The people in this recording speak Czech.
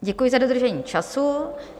Děkuji za dodržení času.